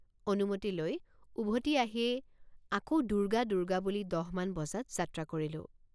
অনুমতি লৈ উভতি আহিয়েই আকৌ দুৰ্গা দুৰ্গা বুলি দহ মান বজাত যাত্ৰা কৰিলোঁ।